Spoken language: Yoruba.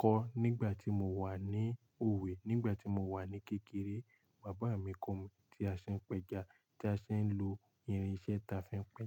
kọ́ nígbà tí mo wà ní òwe. Nígbà tí mo wà ní kékeré, bàbá mi kọ mí tí a ṣe ń pẹja, tí a ṣe ń lo irinṣẹ́ ta fi ń pẹja.